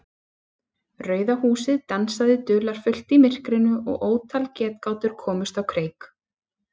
Rauða húsið dansaði dularfullt í myrkrinu og ótal getgátur komust á kreik.